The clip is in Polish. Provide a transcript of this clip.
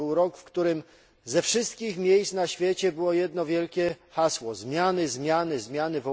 To był rok, w którym ze wszystkich miejsc na świecie było słychać jedno wielkie hasło zmiany, zmiany, zmiany.